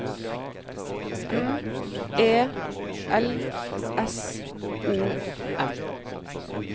M E L S O M